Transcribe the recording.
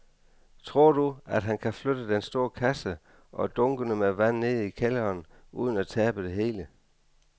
Tror du, at han kan flytte den store kasse og dunkene med vand ned i kælderen uden at tabe det hele?